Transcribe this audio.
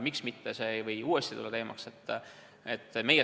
Miks see ei või uuesti teemaks tõusta?